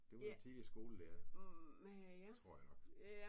Det var en tidligere skolelærer tror jeg nok